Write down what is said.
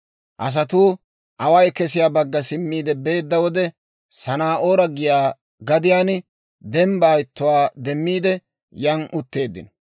Asatuu away kesiyaa bagga simmiide beedda wode, Sanaa'oore giyaa gadiyaan dembbaa ittuwaa demmiide yan, utteeddino.